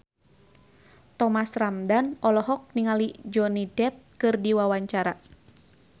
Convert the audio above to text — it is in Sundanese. Thomas Ramdhan olohok ningali Johnny Depp keur diwawancara